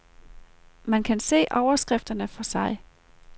Man kan se overskrifterne for sig.